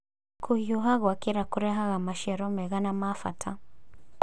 Kũhiũha gwakĩra kũrehaga maciaro mega na ma bata